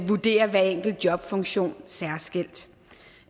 vurdere hver enkelt jobfunktion særskilt